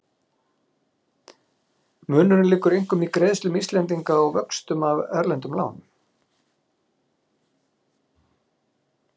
Munurinn liggur einkum í greiðslum Íslendinga á vöxtum af erlendum lánum.